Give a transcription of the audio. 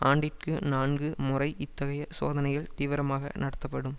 ஆண்டிற்கு நான்கு முறை இத்தகைய சோதனைகள் தீவிரமாக நடத்தப்படும்